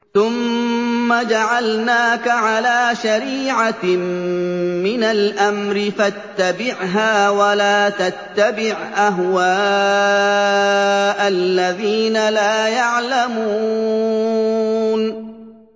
ثُمَّ جَعَلْنَاكَ عَلَىٰ شَرِيعَةٍ مِّنَ الْأَمْرِ فَاتَّبِعْهَا وَلَا تَتَّبِعْ أَهْوَاءَ الَّذِينَ لَا يَعْلَمُونَ